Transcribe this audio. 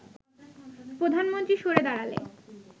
প্রধানমন্ত্রী সরে দাঁড়ালে